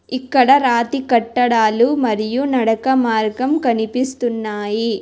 ఇక్కడ రాతి కట్టడాలు మరియు నడక మార్గం కనిపిస్తున్నాయి.